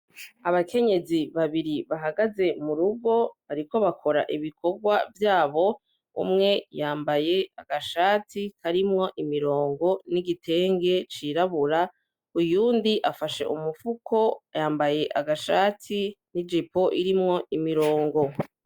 Abakenyezi babiri bahagaze mu rugo bariko bakora ibikorwa vyabo umwe yambaye agashati karimwo imirongo n'igitenge cirabura uyundi afashe umufuko yambaye agashati n'ijipo irimwo imirongo.